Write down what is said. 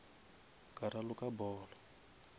ka raloka polo